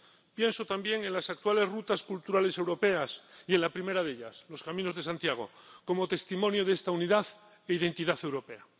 Pienso también en las actuales rutas culturales europeas y en la primera de ellas, los caminos de Santiago, como testimonio de esta unidad e identidad europea.